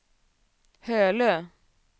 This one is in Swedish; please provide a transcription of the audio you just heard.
Hölö